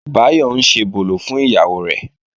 Báyọ̀ ń ṣebòlò fún ìyàwó rẹ̀